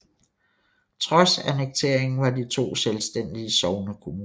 Trods annekteringen var de to selvstændige sognekommuner